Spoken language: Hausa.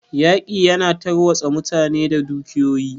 Yaƙi ya na tarwatsa mutane da dukiyoyi.